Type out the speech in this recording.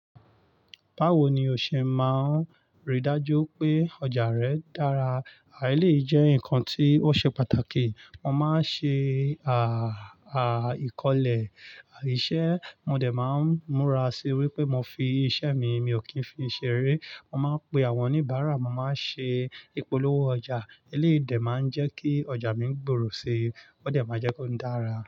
Báwo ni o ṣẹ máa ń ri dájú pé ọjà rẹ̀ dára? À elèyìì jẹ́ nǹkan tí ó ṣe pàtàkì. Mo máa ń ṣe, àà, àá, ìkọ̀lẹ̀ iṣẹ́, mo dẹ̀ máa ń múra sí i wípé mo fi iṣẹ́ mi, mi ò kì í fi i ṣeré. Mo máa ń pe àwọn oníbàárà, mo máa ń ṣe ìpolówó ọjà. Èléyìí dẹ̀ máa ń jẹ́ kí ọjà mi gbòòrò si, ó dẹ̀ máa jẹ́ kí ó dára.